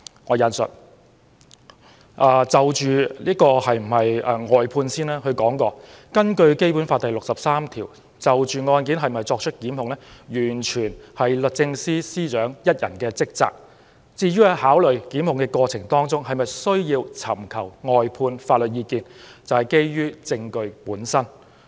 關於尋求外間法律意見，他認為根據《基本法》第六十三條，是否就案件作出檢控完全是律政司司長一人的職責，在考慮是否檢控的過程中需否尋求外間法律意見，則要基於證據本身。